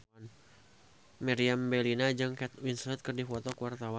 Meriam Bellina jeung Kate Winslet keur dipoto ku wartawan